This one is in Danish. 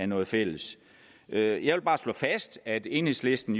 noget fælles jeg jeg vil bare slå fast at enhedslisten